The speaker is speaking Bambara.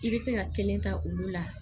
I bɛ se ka kelen ta olu la